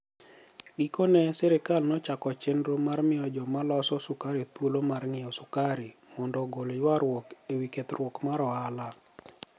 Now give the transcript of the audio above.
Gikoni e sirkal nochako cheniro mar miyo joma loso sukari thuolo mar nig'iewo sukari monido ogol ywaruok e wi 'kethruok mar ohala.'